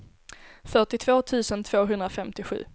fyrtiotvå tusen tvåhundrafemtiosju